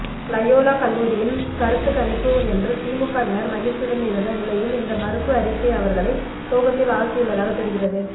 Loyola கல்லூரியின் கருத்துக்கணிப்பு என்று திமுகவினர் மகிழ்ச்சியுடன் இருந்த நிலையில் இந்த மறுப்பு அறிக்கை அவர்களை சோகத்தில் ஆழ்த்தியுள்ளதாக தெரிகிறது